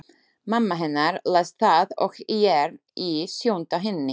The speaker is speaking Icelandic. Mamma hennar les það og er í sjöunda himni.